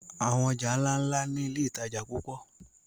Àwọn ọjà ńláńlá ni iléìtajà púpọ̀.